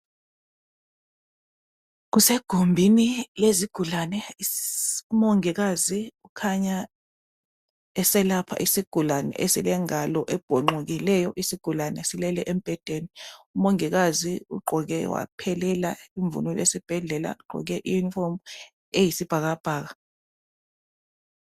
Kusegumbini lezigulane umongikazi ukhanya eselapha isigulane elilengalo ebhonxokileyo. Isigulqne silele embhedeni. Umongikazi ugqoke waphelela imvunulo yesibhedlela eyisibhakabhaka